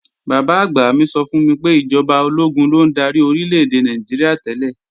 Bàbá-àgbà mi sọ fún mi pé ìjọba ológun ló ń darí Orílè-èdè Nàìjíríà tẹ́lẹ̀